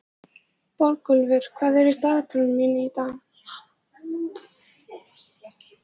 Borgúlfur, hvað er í dagatalinu mínu í dag?